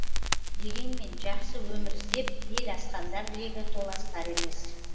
дегенмен жақсы өмір іздеп ел асқандар легі толастар емес